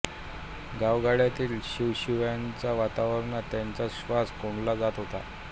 गावगाड्यातील शिवाशिवीच्या वातावरणात त्यांचा श्वास कोंडला जात होता